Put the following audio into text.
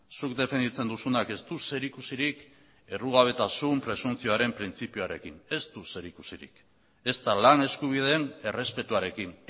zuk defenditzen duzunak ez du zerikusirik errugabetasun presuntzioaren printzipioarekin ez du zerikusirik ezta lan eskubideen errespetuarekin